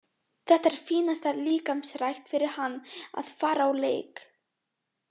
Þetta er fínasta líkamsrækt fyrir hann að fara á leik.